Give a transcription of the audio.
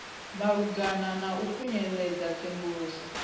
malugana na u khunyeledza tsenguluso